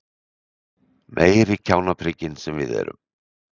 Meiri kjánaprikin sem við erum!